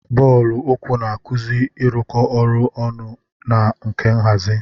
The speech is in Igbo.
Bọọlụ uku na-akuzi ịrụkọ ọrụ ọnụ na nka nhazi.